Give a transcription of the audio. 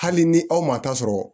Hali ni aw man taa sɔrɔ